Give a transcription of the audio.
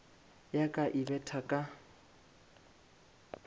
ya ka e betha ka